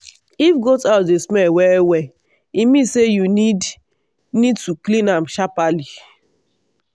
if goat house dey smell well well e mean say you need need to clean am sharperly.